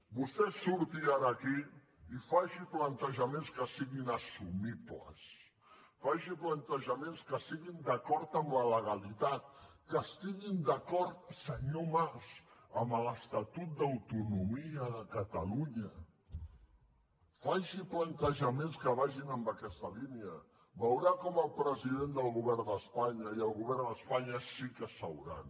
vostè surti ara aquí i faci plantejaments que siguin assumibles faci plantejaments que estiguin d’acord amb la legalitat que estiguin d’acord senyor mas amb l’estatut d’autonomia de catalunya faci plantejaments que vagin en aquesta línia veurà com el president del govern d’espanya i el govern d’espanya sí que seuran